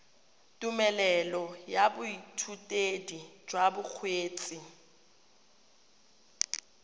tumelelo ya boithutedi jwa bokgweetsi